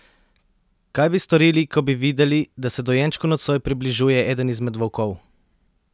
Kaj bi storili, ko bi videli, da se dojenčku nocoj približuje eden izmed volkov?